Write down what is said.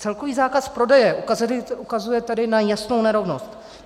Celkový zákaz prodeje ukazuje tedy na jasnou nerovnost.